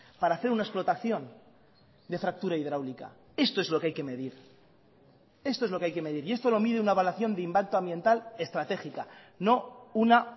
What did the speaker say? para hacer una explotación de factura hidráulica esto es lo que hay que medir esto es lo que hay que medir y esto lo mide una evaluación de impacto ambiental estratégica no una